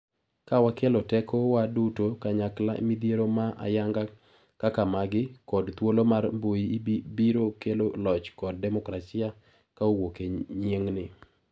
Ka wakelo teko wa duto kanyakla midhiero ma ayanga kaka magi ,kod thuolo mar mbui biro kelo loch kod demokrasia ka owuok e yieng'ni.